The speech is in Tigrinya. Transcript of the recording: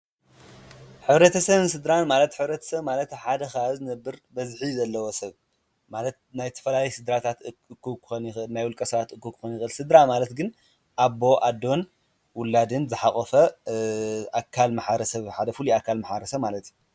ኅረ ተሰብን ስድራን ማለት ኅረትሰ ማለት ሓደ ኻባብ ዝ ነብር በዝኂ ዘለዎ ሰብ ማለት ናይ ተፈላያየ ሥድራታት እክብ ክኮን ይክእል ናይ ው ልቀ ስድራ እክብ ክኮንዝክእል ሥድራ ማለት ግን ኣቦ ፣ኣዶን ፣ዉላድን ፣ዝሓቖፎ ኣካል መሓረሰብ ሓደ ፉሉይ ኣካል ማሕብረሰብ ማለት እዩ።